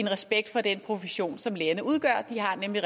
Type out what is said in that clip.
respekt for den profession som lærerne udgør de har nemlig